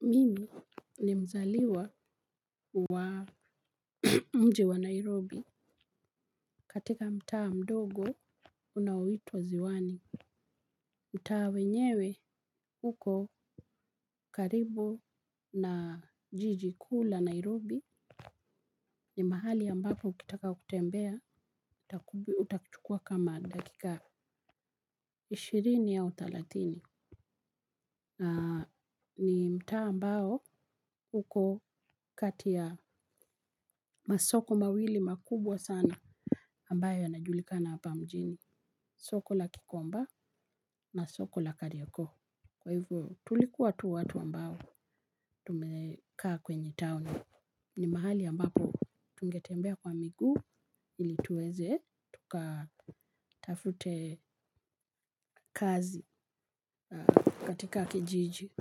Mimi ni mzaliwa wa mji wa Nairobi katika mtaa mdogo unaoitwa ziwani. Mtaa wenyewe uko karibu na jiji kuu la Nairobi, ni mahali ya ambapo ukitaka kutembea utakuchukua kama dakika ishirini au thelathini. Ni mtaa ambao uko kati ya masoko mawili makubwa sana ambayo yanajulikana hapa mjini. Soko la gikomba na soko la kariakoo. Kwa hivo tulikua tu watu ambao tumekaa kwenye town. Ni mahali ambapo tungetembea kwa miguu ili tuweze tuka tafute kazi katika kijiji.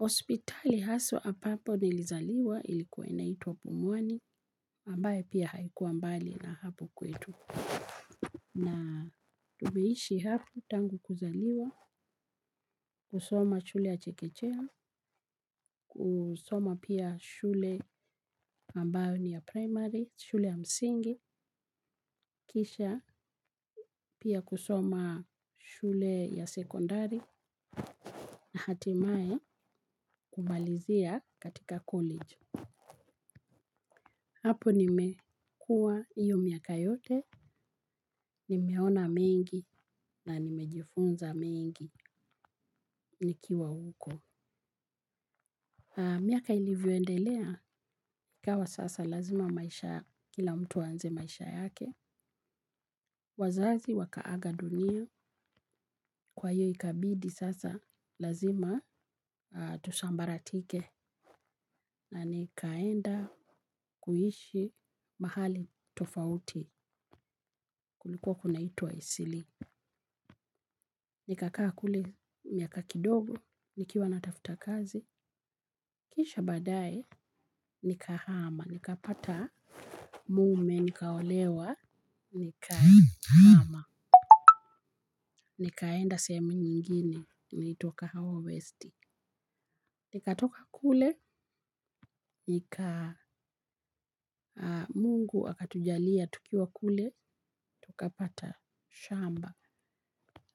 Hospitali haswa ambapo nilizaliwa ilikua inaitwa Pumwani ambaye pia haikuwa mbali na hapo kwetu. Na tumeishi hapo tangu kuzaliwa. Kusoma shule ya chekechea kusoma pia shule ambayo ni ya primary, shule ya msingi. Kisha pia kusoma shule ya sekondari na hatimaye kumalizia katika college, hapo nimekua hiyo miaka yote, nimeona mengi na nimejifunza mengi nikiwa huko. Miaka ilivyoendelea, ikawa sasa lazima maisha kila mtu aanze maisha yake. Wazazi wakaaga dunia, kwa hiyo ikabidi sasa lazima, tusambaratike na nikaenda kuishi mahali tofauti kulikuwa kunaituwa Eastleigh. Nikakaa kule, miaka kidogo, nikiwa natafuta kazi, kisha baadaye, nikahama, nikapata mume, nikaolewa, nikahama, nikaenda sehemu nyingine, inaitwa kahawa west. Nikatoka kule, mungu akatujalia, tukiwa kule, tukapata shamba.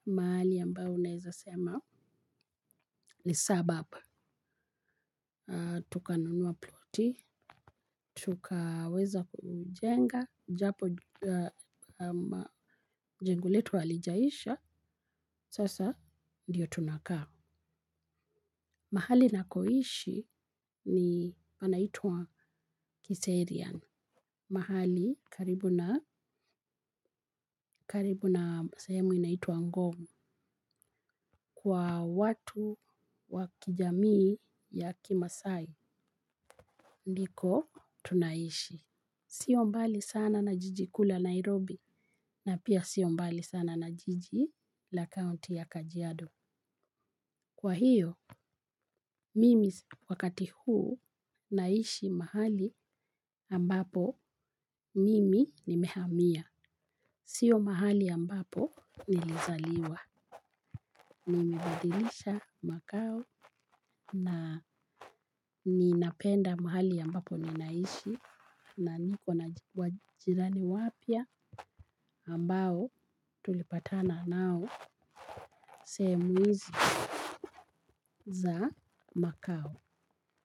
Mahali ambayo unaezasema ni suburb. Tukanunua ploti, tukaweza kujenga, japo jengo letu halijaisha, sasa ndiyo tunakaa. Mahali nakoishi ni panaitwa Kiserian. Mahali karibu na sehemu inaitwa Ngong kwa watu wa kijamii ya kimaasai. Ndiko tunaishi. Sio mbali sana na jiji kuu la Nairobi na pia sio mbali sana na jiji la kaonti ya Kajiado. Kwa hiyo, mimi wakati huu naishi mahali ambapo mimi nimehamia. Sio mahali ambapo nilizaliwa. Nimebadilisha makao na ninapenda mahali ambapo ninaishi na niko na jirani wapya ambao tulipatana nao sehemu hizi za makao.